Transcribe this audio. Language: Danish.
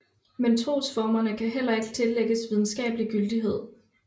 Men trosformerne kan heller ikke tillægges videnskabelig gyldighed